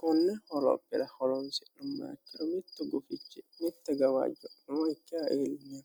konne holophira holonsi'nu maakkiro mitto gufichi mitte gawaajj nooikkaeelmeno